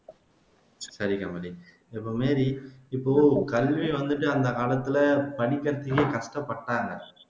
சரி கமலி, இப்போ மேரி இப்போ கல்வி வந்துட்டு அந்த காலத்துல படிக்கிறதுக்கே கஷ்டப்பட்டாங்க